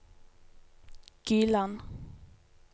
Gyland